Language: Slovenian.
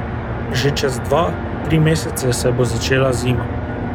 Že čez dva, tri mesece se bo začela zima.